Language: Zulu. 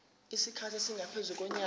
isikhathi esingaphezu konyaka